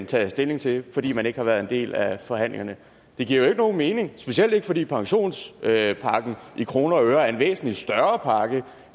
tage stilling til fordi man ikke har været en del af forhandlingerne det giver jo ikke nogen mening specielt ikke fordi pensionspakken i kroner og øre er en væsentlig større pakke